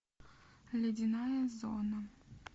ледяная зона